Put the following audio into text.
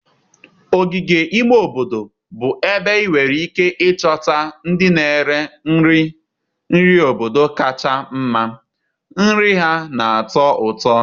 Ogige ime obodo bụ ebe ị nwere ike ịchọta ndị na-ere nri nri obodo kacha mma. Nri ha na-atọ ụtọ.